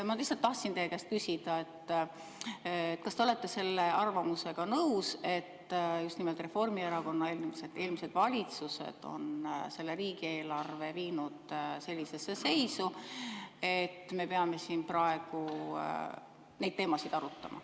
Ma tahtsin lihtsalt teie käest küsida, kas te olete nõus selle arvamusega, et just nimelt Reformierakonna eelmised valitsused on riigieelarve viinud sellisesse seisu, et me peame siin praegu neid teemasid arutama.